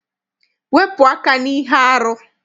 Wepụ aka n'ihe arụ!